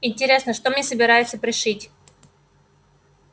интересно что мне собираются пришить